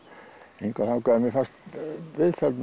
hingað og þangað en mér fannst